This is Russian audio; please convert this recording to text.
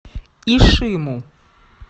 ишиму